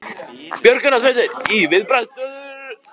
Björgunarsveitir í viðbragðsstöðu